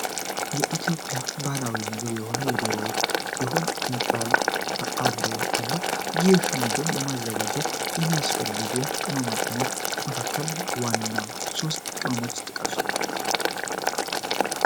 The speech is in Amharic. የኢትዮጵያ ባህላዊ ምግብ የሆነው የዶሮ ወጥ ሲሆን እንቁላልም አብሮት አለ። ይህንን ምግብ ለማዘጋጀት የሚያስፈልጉ ቅማቅመሞች መካከል ዋና ሶስት ቅመሞችን ጥቀሱ?